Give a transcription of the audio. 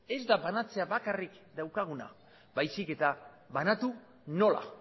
ez da banatzea bakarrik daukaguna baizik eta banatu nola